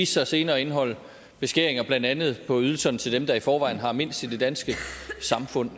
sig senere at indeholde beskæringer blandt andet på ydelserne til dem der i forvejen har mindst i det danske samfund